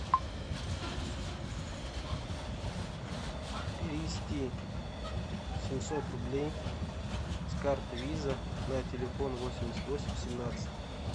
перевести семьсот рублей с карты виза на телефон восемьдесят восемь семнадцать